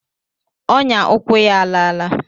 Ọnyà ụkwụ ya a a laala.